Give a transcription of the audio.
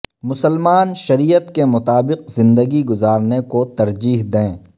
مسلمان شریعت کے مطابق زندگی گزارنے کو ترجیح دیں